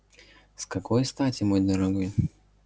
с какой стати мой дорогой